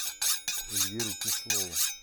эльвиру кислову